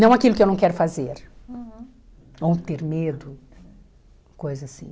Não aquilo que eu não quero fazer, ou ter medo, coisa assim.